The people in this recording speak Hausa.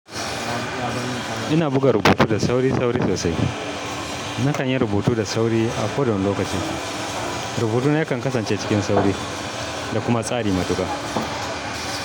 Ina buga rubutu da sauri-sauri sosai. Na kan yi rubutu da sauri a kodawane lokaci. Rubutuna yakan kasance cikin sauri da kuma tsari matuka.